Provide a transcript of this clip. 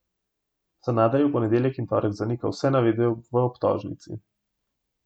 Sanader je v ponedeljek in torek zanikal vse navedbe v obtožnici.